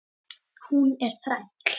Hún er þræll.